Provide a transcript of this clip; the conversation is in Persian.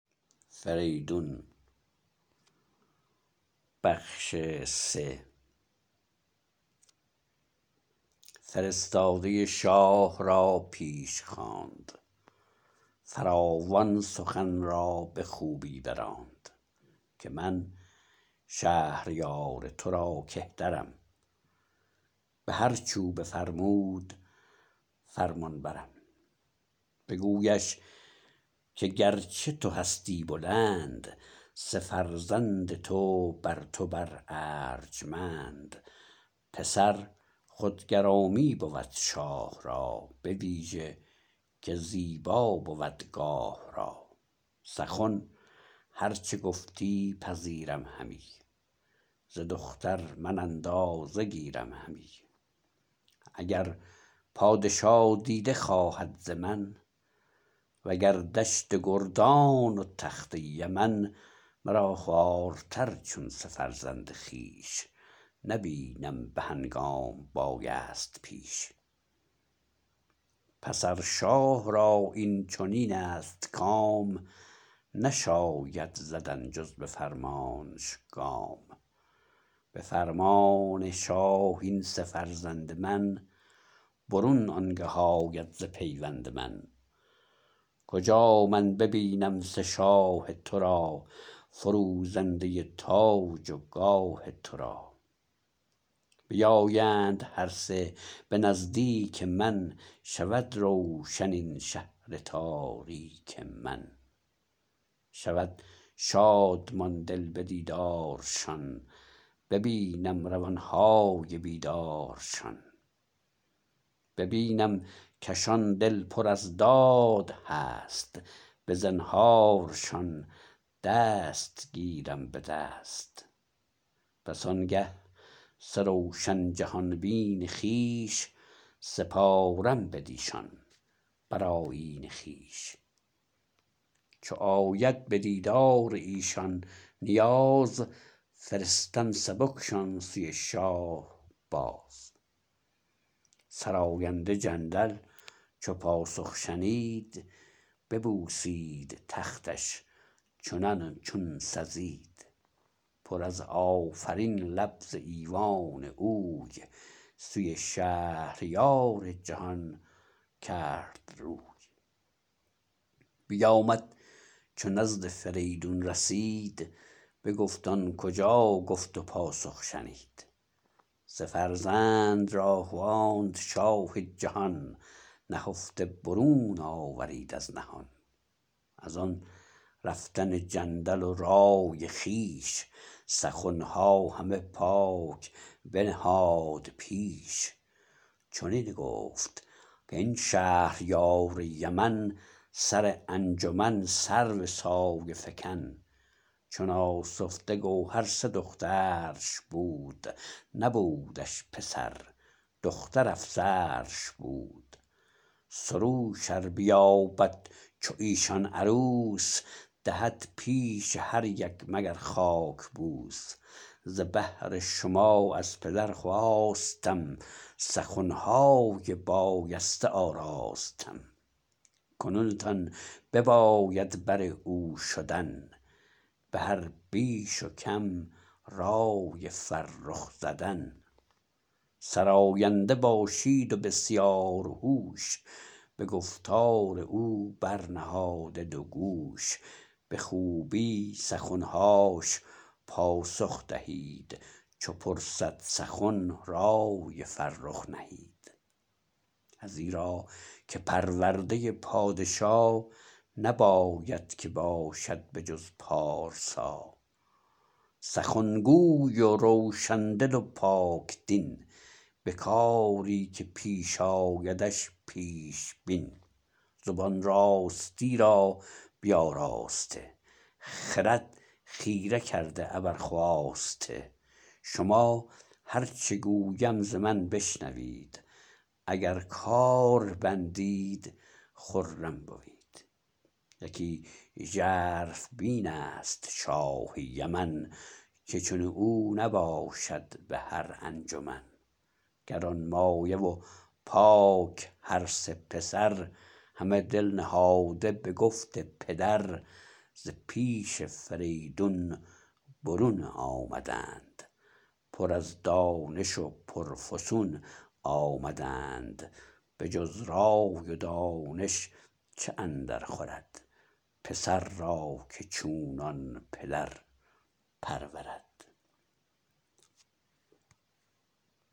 فرستاده شاه را پیش خواند فراوان سخن را به خوبی براند که من شهریار ترا کهترم به هرچ او بفرمود فرمانبرم بگویش که گرچه تو هستی بلند سه فرزند تو برتو بر ارجمند پسر خود گرامی بود شاه را بویژه که زیبا بود گاه را سخن هر چه گفتی پذیرم همی ز دختر من اندازه گیرم همی اگر پادشا دیده خواهد ز من و گر دشت گردان و تخت یمن مرا خوارتر چون سه فرزند خویش نبینم به هنگام بایست پیش پس ار شاه را این چنین است کام نشاید زدن جز به فرمانش گام به فرمان شاه این سه فرزند من برون آنگه آید ز پیوند من کجا من ببینم سه شاه ترا فروزنده تاج و گاه ترا بیایند هر سه به نزدیک من شود روشن این شهر تاریک من شود شادمان دل به دیدارشان ببینم روانهای بیدارشان ببینم کشان دل پر از داد هست به زنهارشان دست گیرم به دست پس آنگه سه روشن جهان بین خویش سپارم بدیشان بر آیین خویش چو آید بدیدار ایشان نیاز فرستم سبکشان سوی شاه باز سراینده جندل چو پاسخ شنید ببوسید تختش چنان چون سزید پر از آفرین لب ز ایوان اوی سوی شهریار جهان کرد روی بیامد چو نزد فریدون رسید بگفت آن کجا گفت و پاسخ شنید سه فرزند را خواند شاه جهان نهفته برون آورید از نهان از آن رفتن جندل و رای خویش سخنها همه پاک بنهاد پیش چنین گفت کاین شهریار یمن سر انجمن سرو سایه فکن چو ناسفته گوهر سه دخترش بود نبودش پسر دختر افسرش بود سروش ار بیابد چو ایشان عروس دهد پیش هر یک مگر خاک بوس ز بهر شما از پدر خواستم سخنهای بایسته آراستم کنون تان بباید بر او شدن به هر بیش و کم رای فرخ زدن سراینده باشید و بسیارهوش به گفتار او برنهاده دوگوش به خوبی سخنهاش پاسخ دهید چو پرسد سخن رای فرخ نهید ازیرا که پرورده پادشا نباید که باشد به جز پارسا سخن گوی و روشن دل و پاک دین به کاری که پیش آیدش پیش بین زبان راستی را بیاراسته خرد خیره کرده ابر خواسته شما هر چه گویم ز من بشنوید اگر کار بندید خرم بوید یکی ژرف بین است شاه یمن که چون او نباشد به هرانجمن گرانمایه و پاک هرسه پسر همه دل نهاده به گفت پدر ز پیش فریدون برون آمدند پر از دانش و پرفسون آمدند بجز رای و دانش چه اندرخورد پسر را که چونان پدر پرورد